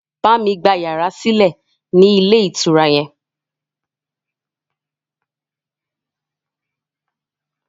Bámi gba yàrá sílẹ̀ ni ilé ìtura yẹn!